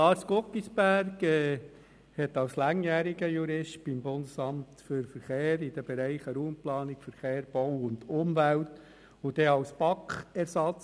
Dann kommen wir zur Wahl der fünf Stimmenzähler, der Mitglieder und Ersatzmitglieder der ständigen Kommissionen, des Präsidiums der FiKo, der GPK und der JuKo.